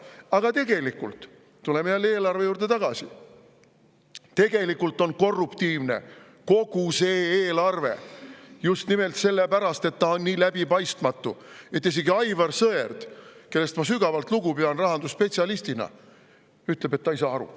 Aga tegelikult on – tuleme jälle eelarve juurde tagasi – korruptiivne kogu see eelarve, just nimelt sellepärast, et see on nii läbipaistmatu, et isegi Aivar Sõerd, kellest ma kui rahandusspetsialistist sügavalt lugu pean, ütleb, et ta ei saa aru.